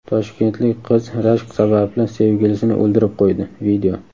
Toshkentlik qiz rashk sababli sevgilisini o‘ldirib qo‘ydi.